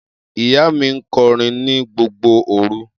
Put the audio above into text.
Iya mi nkorin ni gbogbo oru